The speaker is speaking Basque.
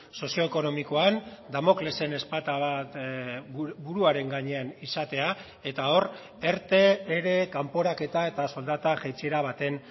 sozioekonomikoan damoklesen ezpata bat buruaren gainean izatea eta hor erte ere kanporaketa eta soldata jaitsiera baten